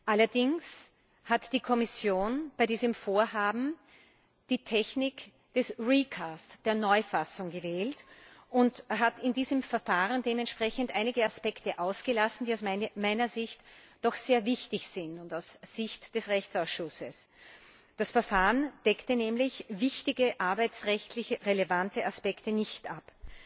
Allerdings hat die Kommission bei diesem Vorhaben die Technik der Neufassung gewählt und hat in diesem Verfahren dementsprechend einige Aspekte ausgelassen, die aus meiner Sicht und aus Sicht des Rechtsausschusses doch sehr wichtig sind. Das Verfahren deckte nämlich wichtige arbeitsrechtlich relevante Aspekte nicht ab.